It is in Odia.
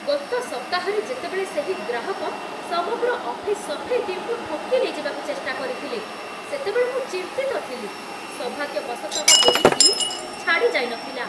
ଗତ ସପ୍ତାହରେ ଯେତେବେଳେ ସେହି ଗ୍ରାହକ ସମଗ୍ର ଅଫିସ୍ ସଫେଇ ଟିମ୍‌କୁ ଠକି ନେଇଯିବାକୁ ଚେଷ୍ଟା କରିଥିଲେ, ସେତେବେଳେ ମୁଁ ଚିନ୍ତିତ ଥିଲି। ସୌଭାଗ୍ୟବଶତଃ, ଏହି ଟିମ୍ ଛାଡ଼ି ଯାଇନଥିଲା।